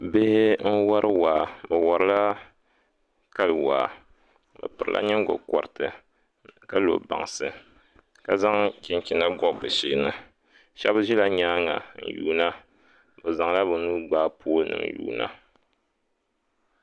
Bihi n wori waa bi worila kali waa bi pirila nyingokoriti ka lo bansi ka zaŋ chinchina gobi bi sheeni shab ʒila nyaanga n yuunda bi zaŋla bi nuu gbaai pool nim yuunda